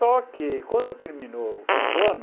Só que quando terminou o quinto ano,